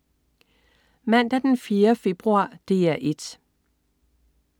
Mandag den 4. februar - DR 1: